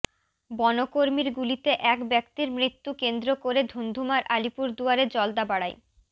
বনকর্মীর গুলিতে এক ব্যক্তির মৃত্যু কেন্দ্র করে ধুন্ধুমার আলিপুরদুয়ারে জলদাপাড়ায়